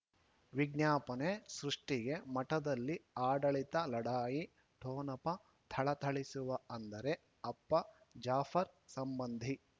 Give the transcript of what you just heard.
ವಿಜ್ಞಾಪನೆ ಸೃಷ್ಟಿಗೆ ಮಠದಲ್ಲಿ ಆಡಳಿತ ಲಢಾಯಿ ಠೊಣಪ ಥಳಥಳಿಸುವ ಅಂದರೆ ಅಪ್ಪ ಜಾಫರ್ ಸಂಬಂಧಿ